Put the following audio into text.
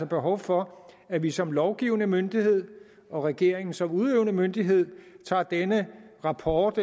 behov for at vi som lovgivende myndighed og regeringen som udøvende myndighed tager denne rapports